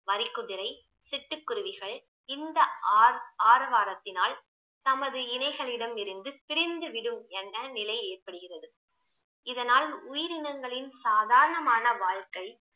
வரிக்குதிரை சிட்டுக்குருவிகள் இந்த ஆர்~ ஆரவாரத்தினால் தமது இனைகளிடமிருந்து பிரிந்து விடும் என நிலை ஏற்படுகிறது இதனால் உயிரினங்களின் சாதாரணமான வாழ்க்கை